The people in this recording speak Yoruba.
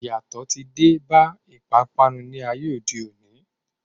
Iyatọ ti dé bá ìpápánu ní ayé òde òni.